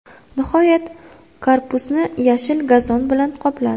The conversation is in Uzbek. Nihoyat, korpusni yashil gazon bilan qopladi.